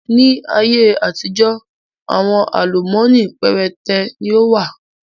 Ni ayé àtijọ́ àwọn àlùmọ́nì péréte ni ó wà